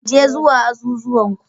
Je zuwa azuzuwan ku.